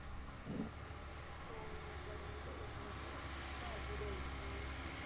Loan वगैरे त्याच्यासोबत मग माहिती दयायची.